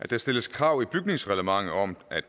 der stilles krav i bygningsreglementet om at